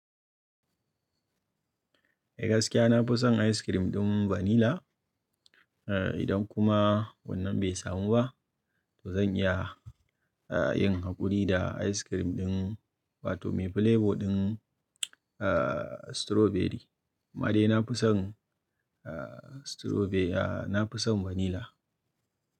Eh gaskiya na fi son ice cream ɗin vanila. Eh idan kuma wannan bai samu ba, to zan iya, a yin haƙuri da ice cream ɗin wato mai flavour ɗin a strawberry. Amma dai na fi son a strawberry, a na fi son vanila.